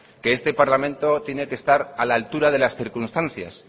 que este parlamento tiene que estar a la altura de las circunstancias